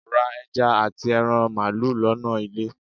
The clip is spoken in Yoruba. ra eja ati eran malu lona ile.